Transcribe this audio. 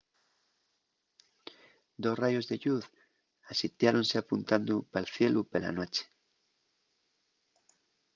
dos rayos de lluz asitiáronse apuntando pal cielu pela nueche